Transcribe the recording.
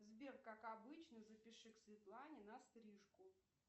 сбер как обычно запиши к светлане на стрижку